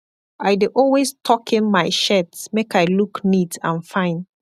i dey alway tockin mai shirt make i look neat and fine